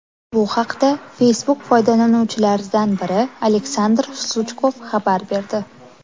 Bu haqda Facebook foydalanuvchilaridan biri Aleksandr Suchkov xabar berdi .